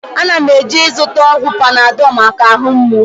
Ana m eje ịzụta ọgwụ Panadọl maka ahụ mgbụ